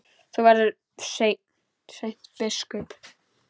Þú verður seint biskup!